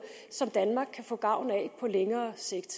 som danmark kan få gavn af på længere sigt